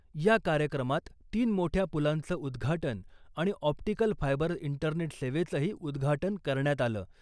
या कार्यक्रमात तीन मोठ्या पुलांचं उद्घाटन आणि ऑप्टीकल फायबर इंटरनेट सेवेचंही उद्घाटन करण्यात आलं .